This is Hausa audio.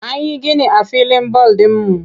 An yi gini a filin bal ɗinmu.